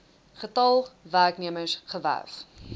getal werknemers gewerf